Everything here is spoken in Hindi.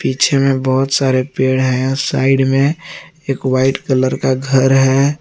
पीछे में बहुत सारे पेड़ हैं साइड में एक व्हाइट कलर का घर है।